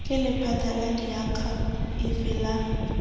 ke lephata la diakhaefe la